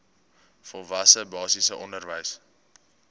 volwasse basiese onderwys